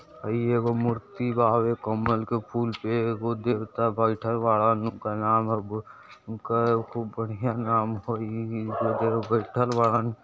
ई एगो मूर्ति बा कमल के फूल पे (पर) एगो देवता बैठल बाड़न उनकर नाम ह बु- उनकर खूब बढ़िया नाम ह इ-इ-इ जो देव बईठल बाड़न।